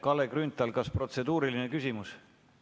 Kalle Grünthal, kas protseduuriline küsimus?